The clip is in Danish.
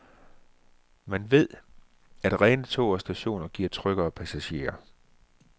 Man ved, at rene tog og stationer giver tryggere passagerer.